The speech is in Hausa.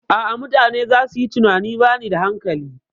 A'a, mutane zasu yi tunanin bani da hankali.